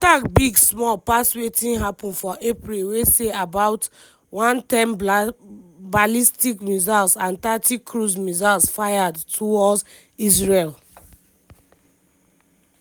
di attack big small pass wetin happun for april wey see about 110 ballistic missiles and thirty cruise missiles fired towards israel.